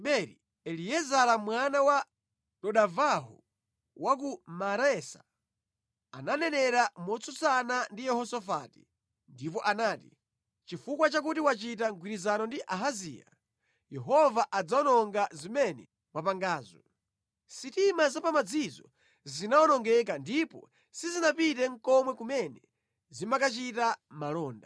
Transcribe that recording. Eliezara mwana wa Dodavahu wa ku Maresa ananenera motsutsana ndi Yehosafati ndipo anati, “Chifukwa chakuti wachita mgwirizano ndi Ahaziya, Yehova adzawononga zimene mwapangazo!” Sitima za pamadzizo zinawonongeka ndipo sizinapite nʼkomwe kumene zimakachita malonda.